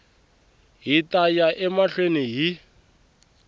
hi ta ya emahlweni hi